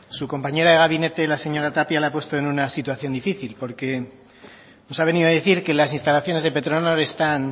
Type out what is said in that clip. su compañera de gabinete la señora tapia le ha puesto en una situación difícil porque nos ha venido a decir que las instalaciones de petronor están